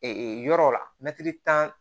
yɔrɔw la mɛtiri tan